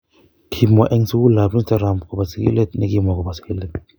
Kimwa en sugulab Instagram kobo sigilet ne kimwa kobo sigilet.